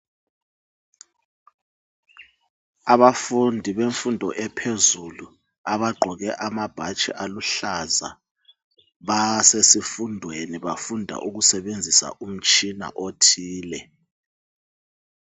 Abafundi bemfundo ephezulu aba gqoke amabhatshi aluhlaza basesifundweni bafunda ukusebenzisa umtshina othile .